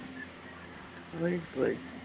right right